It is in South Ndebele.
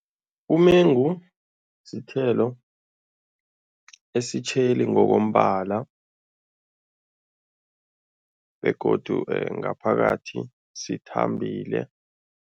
Umengu sithelo esitjheli ngokombala begodu ngaphakathi sithambile.